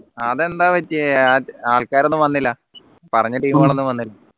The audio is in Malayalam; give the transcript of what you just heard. അതെന്താ പറ്റിയേ ആൾക്കാരൊന്നും വന്നില്ല പറഞ്ഞ team കൾ ഒന്നും വന്നി